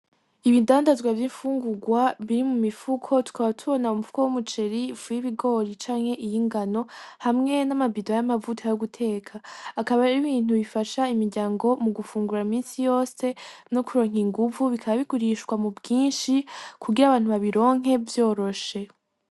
Ibindandazwa vy'infungurwa biri mu mifuko, tukaba tubona umufuko w'umuceri, ifu y'ibigori canke y'ingano, hamwe nama bido y'amavuta yo guteka, akaba ari ibintu bifasha imiryango mugufungura imisi yose no kuronka inguvu, bikaba bigurishwa mu bwinshi kugira abantu babironke vyoroshe.